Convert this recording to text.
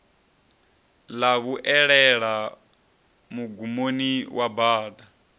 ḽa vhuelela mugumoni wa bada